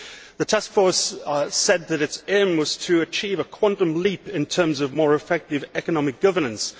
The task force said that its aim was to achieve a quantum leap in terms of more effective economic governance.